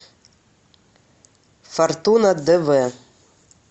фортуна дв